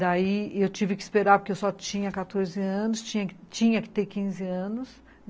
Daí, eu tive que esperar, porque eu só tinha quatorze anos, tinha que ter quinze anos.